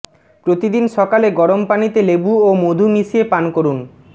প্রতিদিন সকালে গরম পানিতে লেবু ও মধু মিশিয়ে পান করুন